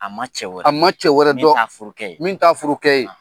A ma cɛ wɛrɛ dɔn a ma cƐ wƐrƐ dƆn min ta furukɛ ye.